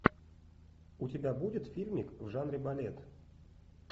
у тебя будет фильмик в жанре балет